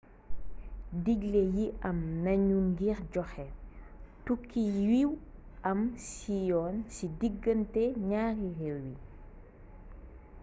digglé yi am nañu ngir joxé tukki yu aw ci yoon ci digganté ñaari réew yi